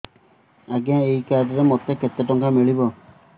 ଆଜ୍ଞା ଏଇ କାର୍ଡ ରେ ମୋତେ କେତେ ଟଙ୍କା ମିଳିବ